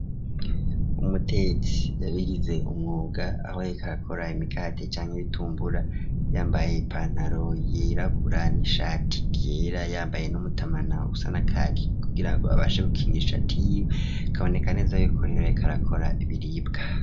Umutetsi yabigize umwuga aho yariko arakora imikate canke ibitumbura yambaye ipantaro yirabura n'ishati giera yambaye n'umutamana usa na kaki kugira ngo abashe gukinisha kaboneka neza y'ikorero yekarakora ibiribwa.